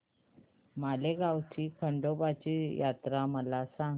माळेगाव ची खंडोबाची यात्रा मला सांग